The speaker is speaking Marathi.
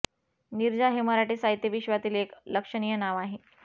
नीरजा हे मराठी साहित्य विश्वातील एक लक्षणीय नाव आहे